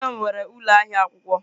Nne m nwere ụlọ ahịa akwụkwọ.